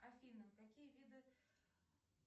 афина какие виды